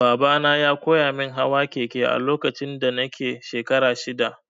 Babana ya koyamin hawa keke a lokacin da nake shekara shida.